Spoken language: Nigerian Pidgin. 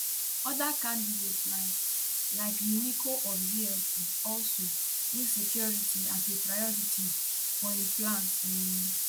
oda candidates like like mimiko of zlp also insecurity as a priority for im plans um